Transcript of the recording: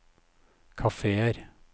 kafeer